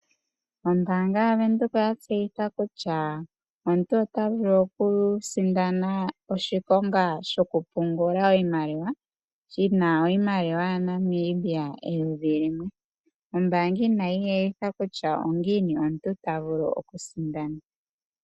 Ombaanga yavenduka oya tseyika kutya omuntu otavulu okusindana oshikonga shoku pungula iimaliwa $1000, ombaanga inayi etha kutya ongiini omuntu tavulu okusindana.